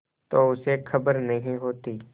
तो उसे खबर नहीं होती